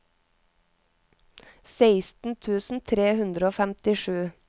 seksten tusen tre hundre og femtisju